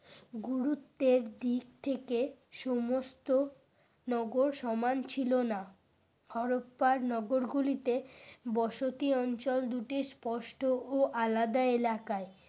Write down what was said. গুরুত্বের দিক থেকে সমস্ত নগর সমান ছিল না। হরপ্পার নগর গুলিতে বসতি অঞ্চল দুটি স্পষ্ট ও আলাদা এলাকায়।